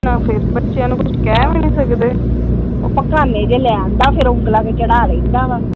ਫਿਰ ਬੱਚਿਆਂ ਨੂੰ ਕੁੱਜ ਕਹਿ ਵੀ ਨੀ ਸਕਦੇ ਉਹ ਪਗਾਨੇ ਜਿਹੇ ਲਹਿ ਆਉਂਦਾ ਉਂਗਲਾਂ ਤੇ ਚੜ੍ਹਾ ਲਹਿੰਦਾ ।